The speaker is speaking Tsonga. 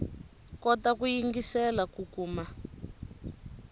kota ku yingiselela ku kuma